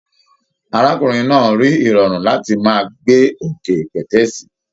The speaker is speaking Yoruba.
Arákùnrin náà rí irọrun láti máa gbé òkè pẹtẹẹsì.